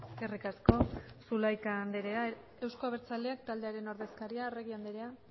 eskerrik asko zulaika andrea eusko abertzaleak taldearen ordezkaria arregi andrea